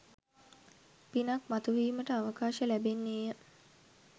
පිනක් මතුවීමට අවකාශ ලැබෙන්නේය.